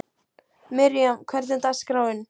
Miriam, hvernig er dagskráin?